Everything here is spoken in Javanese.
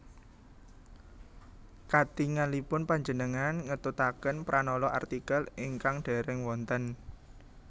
Katingalipun panjenengan ngetutaken pranala artikel ingkang dèrèng wonten